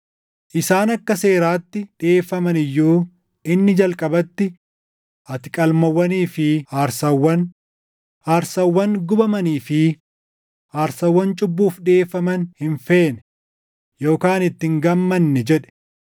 Isaan akka seeraatti dhiʼeeffaman iyyuu inni jalqabatti, “Ati qalmawwanii fi aarsaawwan, aarsaawwan gubamanii fi aarsaawwan cubbuuf dhiʼeeffaman hin feene yookaan itti hin gammanne” jedhe.